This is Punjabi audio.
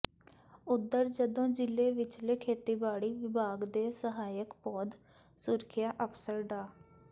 ਉਧਰ ਜਦੋਂ ਜ਼ਿਲ੍ਹੇ ਵਿਚਲੇ ਖੇਤੀਬਾੜੀ ਵਿਭਾਗ ਦੇ ਸਹਾਇਕ ਪੌਦ ਸੁਰੱਖਿਆ ਅਫ਼ਸਰ ਡਾ